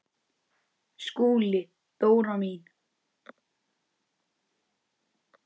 SKÚLI: Dóra mín!